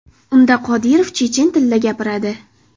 Unda Qodirov chechen tilida gapiradi.